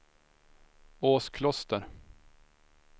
Åskloster